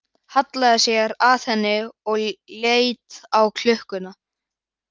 Hallaði sér að henni og leit á klukkuna.